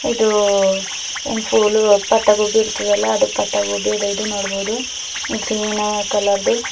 ಇದು ಇನ್ಫ್ಯೂಲು ಪತ್ತಾ ಗೋಬಿ ಇರ್ತದಲ್ಲ ಅದು ಪತ್ತಾ ಗೋಬಿ ಅದ ಇದು ನೋಡ್ಬುದು ಗ್ರಿನ ಕಲರ್ ದೂ.